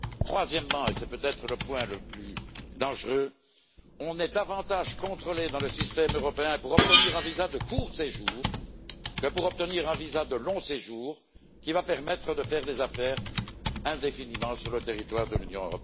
Troisièmement, et c'est peut être le point le plus dangereux, on est davantage contrôlé dans le système européen pour obtenir un visa de court séjour que pour obtenir un visa de long séjour, qui va permettre de faire des affaires indéfiniment sur le territoire de l'Union.